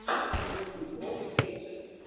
ютуб вокс кетчерз